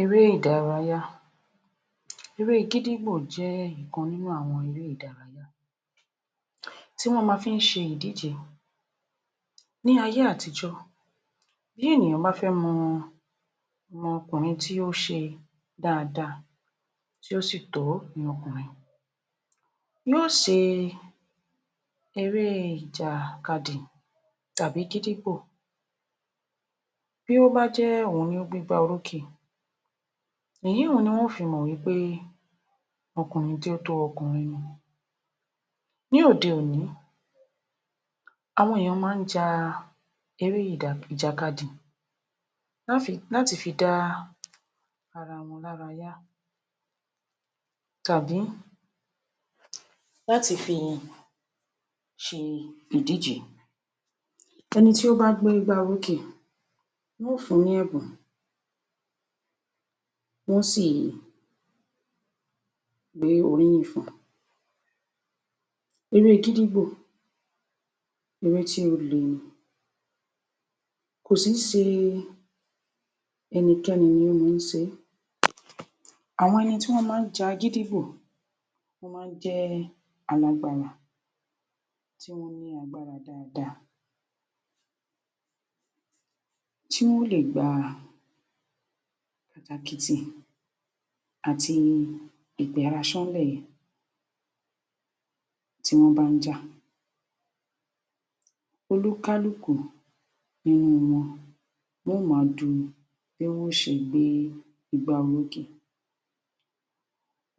Eré ìdárayá Eré gídígbò jẹ́ ìkan nínú àwọ̣n eré ìdárayá tí wọ́n ma fi ń ṣe ìdíje. Ní ayé átijó, bí ènìyàn bá fé mọ ọmọkùnrin tí ó ṣe dáadáa, tí ó sì tó ní ọkùnrin, yíó ṣe eré ìjàkadì tàbí gídígbò. Bí ó bá jẹ́ òhun ni o gbégbá orókè, èyúhun ni wọn ó fi mọ̀ pé ọkùnrin tí ó tó ọkùnrin ni. Ní òde òní, àwọn èèyàn má ń ja eré ìjàkadì láti fi dá ara wọn lára yá tàbí láti fi ṣe ìdíje. Eni tí ó bá gbé igbá orókè, wọ́n o fún un ní ẹ̀bùn, wọ́n ó sì gbé oríyìn fún un. Eré gídígbò, eré tí ó le ni, kò sìí ṣe ẹnikẹ́ni ni ó má ń ṣe é. Àwọn ẹni tí ó má ń ja gídígbò, wọ́n má ń jẹ́ alágbára, tí wọ́n ní agbára dáadáa, tí wón ó lè gba ìtàkìtì àti Ìgbéraṣọ́nlẹ̀ tí wọ́n bá ń jà. Olúkálùkù nínú wọn wọ́n ó máa du bí wọ́n ó ṣe gbé igbá orókè.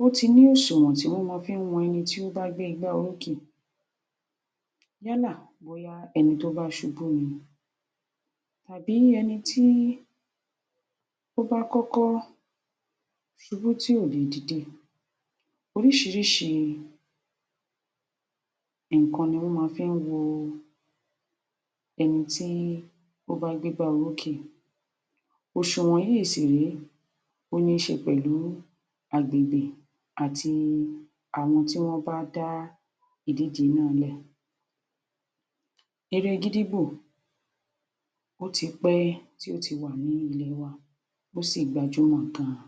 O ti ní òṣùwọ̀n tí wọ́n máa fi ń wọn ẹni tí ó bá gbé igbá orókè, yálà bóyá ẹni tí ó bá ṣubú ni tàbí ẹni tó bá kọ́kọ́ ṣubú tí ò lè dìde. Oríṣiríṣii nǹkan ni wón máa fi ń wo ẹni tí ó bá gbégbá orókè. Òṣùwọ̀n yìí sì rèé, ó níí ṣe pẹ̀lú agbègbè àti àwọn tí wọ́n bá dá ìdíje nàá lẹ̀. Eré gídígbo, ó ti pẹ́ tí ó ti wà ní ilẹ̀ wa, ó sì gbájúmò gan-an.